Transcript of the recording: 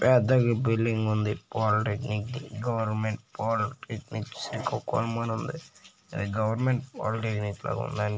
పెద్ద బిల్డింగ్ ఉంది పాలిటెక్నిక్ ది. గవర్నమెంట్ పాలిటెక్నిక్ శ్రీకాకుళం అని ఉంది. అది గవర్నమెంట్ పాలిటెక్నిక్ లా ఉంది.